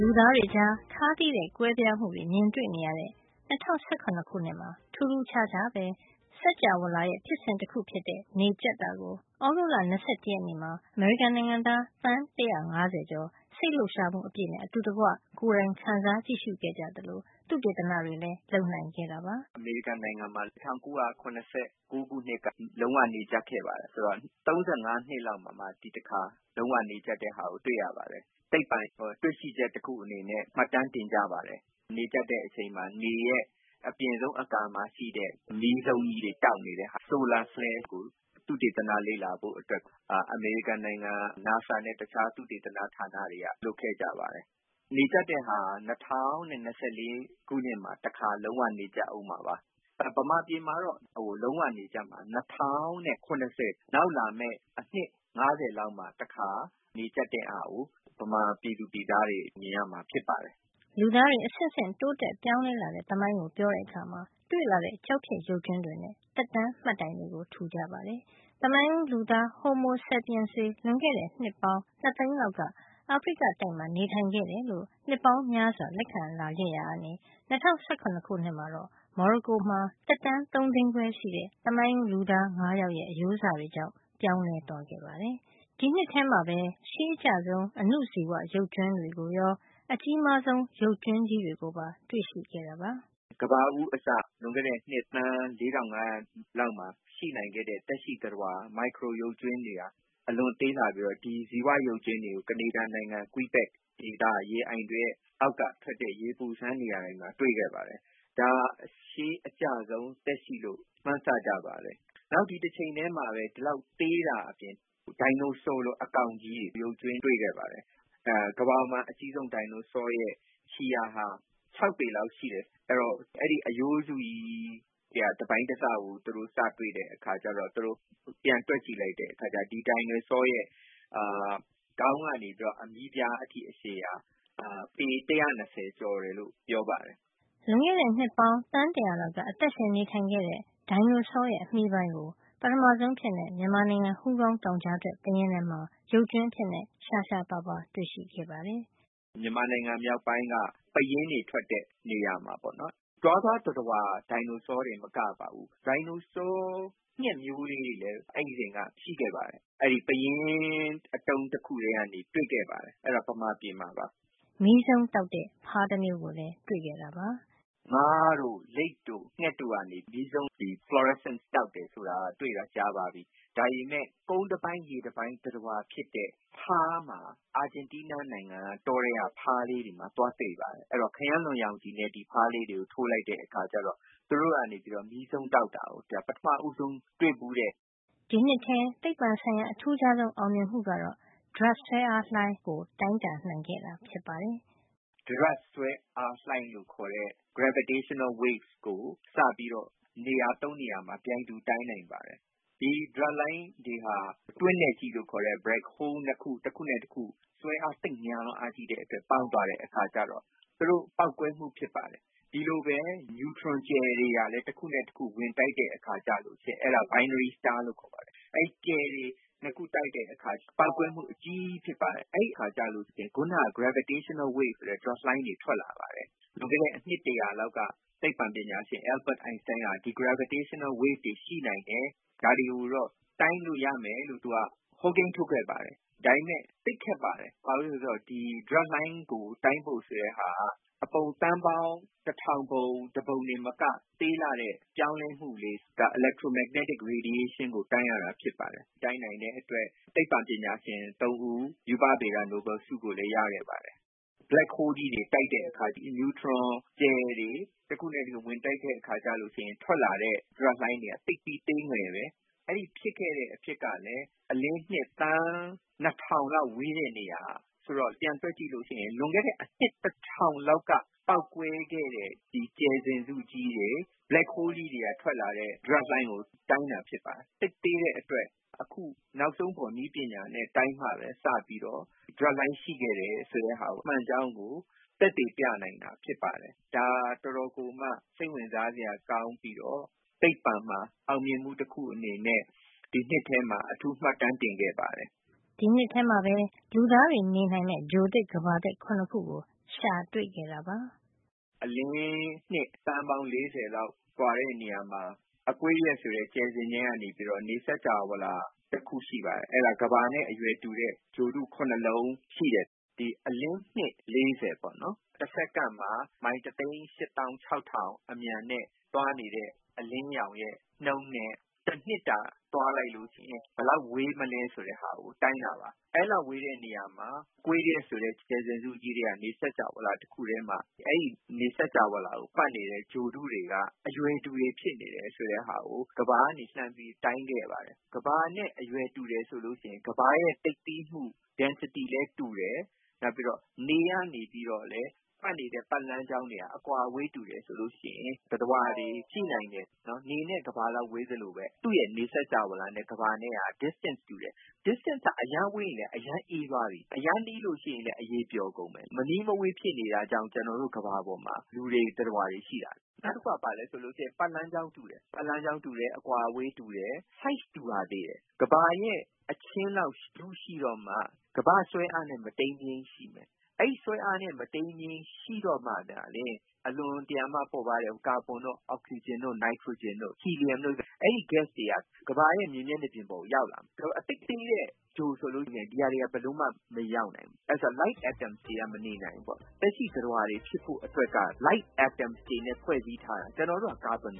လူသားတွေကြား ခါးသည်းတဲ့ ကွဲပြားမှုတွေ မြင်နေရတဲ့ ၂၀၁၇ မှာ ထူးထူး ခြားခြားပဲ စင်္ကြာဝဠာရဲ့ ဖြစ်စဉ် တခုဖြစ်တဲ့ နေကြပ်တာကို သြဂုတ်လ ၂၁ ရက်နေ့မှာ အမေရိကန်နိုင်ငံသား သန်း ၁၅၀ ကျော် စိတ်လှုပ်ရှားမှုအပြည့်နဲ့ အတူတကွ ကိုယ်တိုင်ခံစား ကြည့်ရှုခဲ့ကြသလို သုတေသနတွေလည်း လုပ်နိုင်ခဲ့တာပါ။ “အမေရိကန်နိုင်ငံမှာ ၁၉၇၉ ခုနှစ်က လုံးဝနေကြပ်ခဲ့ပါတယ်။ ဆိုတော့ ၃၅ နှစ်လောက် မှာမှ ဒီတခါ လုံးဝနေကြပ်တာကို တွေ့ရပါတယ်။ သိပ္ပံတွေ့ရှိချက် တခုအနေနဲ့ မှတ်တမ်း တင်ကြပါတယ်။ နေကြပ်တဲ့အချိန်မှာ နေရဲ့အပြင်ဆုံး အကာမှာရှိတဲ့ အမီးဇုန်းကြီးတွေ တောက်နေတဲ့ ဆိုလာဆဲလ်ကို သုတေသန လေ့လာဖို့အတွက် အမေရိကန် NASA နဲ့ အခြားသုတေသန ဌာနတွေက လုပ်ခဲ့ကြပါတယ်။ နေကြပ်တာက ၂၀၂၄ ခုနှစ်မှာ တခါ လုံးဝနေကြပ်ဦးမှာပါ။ မြန်မာပြည်မှာတော့ လုံးဝနေကြပ်မှာက ၂၀၇၀ - နောက်လာမယ့် အနှစ် ၅၀ မှာတခါ နေကြပ်တဲ့ဟာကို မြန်မာပြည်သူပြည်သားတွေ မြင်ရမှာဖြစ်ပါတယ်။” လူသားတွေ အဆင့်ဆင့် တိုးတက် ပြောင်းလဲလာတဲ့သမိုင်းကို ပြောတဲ့အခါ တွေ့လာတဲ့ ကျောက်ဖြစ်ရုပ်ကြွင်းတွေနဲ့ သက်တမ်းမှတ်တိုင်တွေ ထူကြပါတယ်။ သမိုင်းဦးလူသား Homo sapiens တွေ လွန်ခဲ့တဲ့ နှစ်ပေါင်း ၂ သိန်းလောက်က အာဖရိကတိုက်မှာ နေထိုင်ခဲ့ တယ်လို့ နှစ်ပေါင်းများစွာ လက်ခံလာခဲ့တာဟာ ၂၀၁၇ မှာတော့ မော်ရိုကိုမှာ သက်တမ်း ၃ သိန်းခွဲရှိတဲ့ သမိုင်းဦးလူသား ၅ ယောက်ရဲ့ အရိုးစတွေကြောင့် ပြောင်းလဲ သွားခဲ့ပါတယ်။ ဒီနှစ်ထဲမှာပဲ ရှေးအကျဆုံး အဏုဇီဝ ရုပ်ကြွင်းတွေကိုရော အကြီးမားဆုံး ရုပ်ကြွင်းတွေကိုပါ တွေ့ရှိခဲ့တာပါ။ “ကမ္ဘာဦးအစ လွန်ခဲ့တဲ့နှစ်သန်း ၄,၅၀၀ လောက်မှာ ရှိနိုင်ခဲ့တဲ့ သက်ရှိသတ္တဝါ မိုက်ခရို ရုပ်ကြွင်းတွေဟာ အလွန်သေးလှပြီးတော့ ဒီဇီဝရုပ်ကြွင်းတွေကို ကနေဒါနိုင်ငံ ကွိဘက် ဒေသက ရေအိုင်တွေရဲ့ အောက်ကထွက်တဲ့ ရေပူစမ်း နေရာတွေမှာ တွေ့ခဲ့ပါတယ်။ ဒါဟာ ရှေးအကျဆုံး သက်ရှိလို့ မှန်းဆကြပါတယ်။ တချိန်တည်းမှာပဲ သေးတာအပြင် ဒိုင်နိုဆောလို အကောင်ကြီးတွေရဲ့ ရုပ်ကြွင်းတွေလည်း တွေ့ခဲ့ပါတယ်။ ကမ္ဘာပေါ်မှာ အကြီးဆုံး ဒိုင်နိုဆောရဲ့ ခြေရာဟာ ၆ ပေ လောက်ရှိတယ်။ အဲဒီတော့ အဲဒီအရိုးစုကြီး ထဲက တပိုင်းတစကို သူတို့ စတွေ့တဲ့အခါကျတော့ သူတို့ပြန်တွက်ကြည့်တယ်။ အဲဒီ အခါကျတော့ ဒီ ဒိုင်နိုဆောရဲ့ခေါင်းကနေပြီးတော့ အမြီးဖျားထိ အရှည်ဟာ ပေ ၁၂၀ ကျော်တယ်လို့ ပြောပါတယ်။” လွန်ခဲ့တဲ့နှစ်ပေါင်း သန်း ၁၀၀ လောက်က အသက်ရှင် နေထိုင်ခဲ့တဲ့ ဒိုင်နိုဆောရဲ့ အမြီး ပိုင်းကို ပထမဆုံးအဖြစ် မြန်မာနိုင်ငံ ဟူးကောင်းတောင်ကြားထွက် ပယင်းထဲမှာ ရုပ်ကြွင်း အဖြစ် ရှားရှားပါးပါး တွေ့ရှိခဲ့ပါတယ်။ “မြန်မာနိုင်ငံမြောက်ပိုင်းက ပယင်းတွေထွက်တဲ့ နေရာမှာပေါ့.. တွားသွားသတ္တဝါ ဒိုင်နိုဆော တင်မက ပါဘူး ဒိုင်နိုဆောငှက်မျိုးတွေလည်း အဲဒီအချိန်တုန်းက ရှိခဲ့ပါတယ်။ အဲဒီ ပယင်းအတုံး တခုထဲကနေ တွေ့ခဲ့ပါတယ်.. အဲဒါ မြန်မာပြည်မှာပါ။” မီးစုန်းတောက်တဲ့ ဖားတမျိုးကိုလည်း တွေ့ခဲ့ပါတယ်။ “ငါးတို့၊ လိပ်တို့၊ ငှက်တို့ကနေ မီးစုန်းတောက်တယ် ဆိုတာ တွေ့တာ ကြာပါပြီ။ ဒါပေမယ့် ကုန်းတပိုင်း ရေတပိုင်း သတ္တဝါဖြစ်တဲ့ ဖါးမှာ.. အာဂျင်တီးနားနိုင်ငံ က တောထဲက ဖားလေးတွေမှာ သွားတွေ့ပါတယ်။ အဲဒီတော့ ခရမ်းလွန်ရောင်ခြည်နဲ့ ဒီဖားလေးတွေကို ထိုးလိုက်တဲ့အခါကျတော့ သူတို့ကနေပြီးတော့ မီးစုန်းတောက်တာကို ပမထဦးဆုံးတွေ့ဖူးတယ်။” ဒီနှစ်ထဲ သိပ္ပံဆိုင်ရာ အထူးခြားဆုံး အောင်မြင်မှုကတော့ ဒြပ်ဆွဲအားလှိုင်းကို တိုင်းတာ နိုင်ခဲ့တာ ဖြစ်ပါတယ်။ “ ဒြပ်ဆွဲအားလှိုင်းလို့ခေါ်တဲ့ Gravitational Wave ကို စပြီးတော့ နေရာ ၃ နေရာမှာ ပြိုင်တူ တိုင်းနိုင်ပါတယ်။ ဒီဒြပ်လှိုင်းတွေဟာ တွင်းနက်ကြီး လို့ ခေါ်တဲ့ Black Hole နှစ်ခု တခုနဲ့တခု ဆွဲအား သိပ်များလွန်းအားကြီးတဲ့အတွက် ပေါင်းသွားတဲ့အခါကျတော့ သူတို့ပေါက်ကွဲမှု ဖြစ်ပါတယ်။ ဒီလိုပဲ နျူထရွန်ကြယ်တွေကလည်း တခုနဲ့တခု ဝင်တိုက် တဲ့ အခါကျလို့ရှိရင် Binary Stars လို့ခေါ်ပါတယ်။ အဲဒီကြယ်တွေ ၂ ခု တိုက်တဲ့အခါ ပေါက်ကွဲမှု အကြီးကြီး ဖြစ်ပါတယ်။ အဲဒီအခါမှာ ခုနက Gravitational Wave ဆိုတဲ့ လှိုင်းတွေ ထွက်လာပါတယ်။ လွန်ခဲ့တဲ့ အနှစ် တရာလောက်က သိပ္ပံပညာရှင် Albert Enstein က ဒီ Gravitational Wave တွေ ရှိနိုင်တယ်။ ဒါတွေကိုတော့ တိုင်းလို့ ရမယ်လို့ သူက ဟောကိန်းထုတ်ခဲ့ပါ တယ်။ ဒါပေမယ့် သိပ်ခက်ပါတယ်။ ဘာကြောင့်လဲ ဆိုတော့ ဒီ ဒြပ်ဆွဲအားလှိုင်းကို တိုင်းဖို့ဆိုတာက အပုံ သန်းပေါင်း တထောင်ပုံတပုံ ထက်မက သေးငယ်လှတဲ့ ပြောင်းလဲမှုလေးက electromagnetic radiation ကို တိုင်းရတာ ဖြစ်ပါတယ်။ အခု ဒါကို တိုင်းနိုင်တဲ့အတွက် သိပ္ပံပညာရှင် ၃ ဦး ရူပဗေဒ နိုဘယ်လ် ဆုကိုလည်း ရခဲ့ပါတယ်။ Black holes ကြီးတွေ တိုက်တဲ့အခါ နျူထရွန် ကြယ်တွေ တခုနဲ့တခု ဝင်တိုက်တဲ့ အခါ မှာ ထွက်လာတဲ့ ဒြပ်လှိုင်းတွေက သိပ်ပြီး သေးငယ်တယ်။ အဲဒီဖြစ်ခဲ့တဲ့ အဖြစ်က လည်း အလင်းနှစ် သန်း ၂၀၀၀ လောက် ဝေးတဲ့ နေရာမှာ ဖြစ်တာ။ ဆိုတော့ ပြန်တွက် ကြည့်ရင် လွန်ခဲ့တဲ့ အနှစ် တထောင်လောက်က ပေါက်ကွဲခဲ့တဲ့ ကြယ်စဉ်စုကြီးတွေ၊ black holes ကြီးတွေ ကနေ ထွက်လာတဲ့ ဒြပ်လှိုင်းကို တိုင်းတာ ဖြစ်ပါတယ်။ သိပ်သေးတဲ့အတွက် အခု နောက်ဆုံးပေါ် နည်းပညာနဲ့ တိုင်းမှပဲ စပြီးတော့ ဒြပ်လှိုင်း ရှိခဲ့တယ် ဆိုတာ မှန်ကြောင်းကို သက်သေပြနိုင်တာ ဖြစ်ပါတယ်။ ဒါဟာ အတော်ကို စိတ်ဝင်စားစရာ ကောင်းသလို သိပ္ပံဆိုင်ရာမှာ အောင်မြင်မှု အနေနဲ့ ဒီနှစ်ထဲမှာ မှတ်တမ်း တင်ခဲ့ပါတယ်။” ဒီနှစ်ထဲမှာပဲ လူသားတွေ နေနိုင်မယ့် ဂြိုဟ်သစ် ကမ္ဘာသစ် ၇ ခုကို ရှာတွေ့ခဲ့တာပါ။ “အလင်းနှစ် သန်းပေါင်း ၄၀ လောက် ကွာတဲ့နေရာမှာ Aquarius ဆိုတဲ့ ကြယ်စဉ်တန်း က နေ စင်္ကြာဝဠာတခု ရှိပါတယ်။ အဲဒီမှာ ကမ္ဘာနဲ့ တူတဲ့ ဂြိုဟ် ၇ လုံး ရှိပါတယ်။ အလင်းနှစ် က ၄၀ ပေါ့နော်။ တစက္ကန့်မှာ မိုင် တသိန်း ၈ သောင်း ၆ ထောင် အမြန်နဲ့ သွားနေတဲ့ အလင်းရောင်ရဲ့ နှုန်းနဲ့ တနှစ်တာ သွားလိုက်ရင် ဘယ်လောက် ဝေးမလဲ ဆိုတာကို တိုင်းတာပါ။ အဲဒီလောက် ဝေးတဲ့ နေရာမှာ Aquarius ဆိုတဲ့ ကြယ်စဉ်စုကြီး ထဲက နေစင်္ကြာဝဠာမှာ အဲဒီ နေစင်္ကြာဝဠာကို ပတ်နေတဲ့ ဂြိုဟ်တွေက အရွယ်တူတွေ ဖြစ်နေတယ် ဆိုတာကို ကမ္ဘာကနေ လှမ်းပြီး တိုင်းခဲ့ပါတယ်။ ကမ္ဘာနဲ့ အရွယ်တူတယ် ဆိုလို့ ရှိရင် ကမ္ဘာရဲ့ သိပ်သည်းမှု density လည်း တူတယ်။ နောက်ပြီး နေ ကနေလည်း ပတ်နေတဲ့ ပတ်လမ်းတွေက အကွာဝေး တူတယ်။ ဒါဆိုရင် သတ္တဝါတွေ ရှိနိုင်တယ်။ နေနဲ့ ကမ္ဘာလောက် ဝေးသလို သူ့ရဲ့ နေစင်္ကြာဝဠာနဲ့ ကမ္ဘာနဲ့က distance တူတယ်။ အကွာဝေးက အရမ်း ဝေးရင်လည်း အရမ်း အေးသွားပြီ။ အရမ်းနီးရင်လည်း အရည် ပျော်ကုန်မယ်။ မနီးမဝေး ဖြစ်နေတာ ကြောင့် ကျွန်တော်တို့ ကမ္ဘာပေါ်မှာ လူတွေ သတ္တဝါတွေရှိတာ။ နောက် ပတ်လမ်းကြောင်း တူတယ်။ အကွာဝေးတူတဲ့အပြင် အရွယ်အစားလည်း တူရသေးတယ်။ ကမ္ဘာရဲ့ အချင်းလောက် ထုရှိတော့မှ ကမ္ဘာ့ ဆွဲအားနဲ့ မတိမ်းမယိမ်း ရှိမယ်။ အဲဒီ ဆွဲအား မတိမ်းမယိမ်း ရှိမှသာလျင် အလွန်တရာမှ ပေါ့ပါးတဲ့ ကာဗွန်တို့၊ အောက်ဆီဂျင်တို့၊ နိုက်ထရိုဂျင်တို့၊ ဟီလီယမ် တို့လို ဓါတ်ငွေ့တွေ က ကမ္ဘာရဲ့ မျက်နှာပြင် ပေါ်ကို ရောက်လာမယ်။ သိပ်သေးတဲ့ ဂြိုဟ်ဆိုရင် ဒီဓါတ်တွေ ဘယ်လိုမှ ရောက်မလာ နိုင်ဘူး။ ဘာကြောင့်လဲဆိုတော့ ဒီလို light atoms ပေါ့ပါးတဲ့ အက်တမ်တွေက မနေနိုင်ဘူးပေါ့။ သက်ရှိသတ္တဝါတွေကို light atoms တွေနဲ့ ဖွဲ့စည်းထားတာ မို့ပါ။ ကျွန်တော်တို့က ကာဗွန်